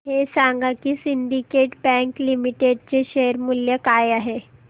हे सांगा की सिंडीकेट बँक लिमिटेड चे शेअर मूल्य काय आहे